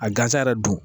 A gansa yɛrɛ don